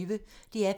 DR P1